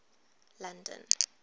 london